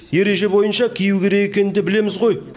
ереже бойынша кию керек екенін де білеміз ғой